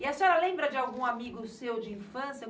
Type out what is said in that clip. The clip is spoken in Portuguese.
E a senhora lembra de algum amigo seu de infância?